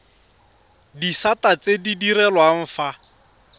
disata tse di direlwang fa